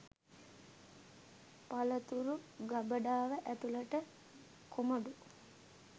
පළතුරු ගබඩාව ඇතුළට කොමඩු